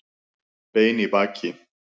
Bein í baki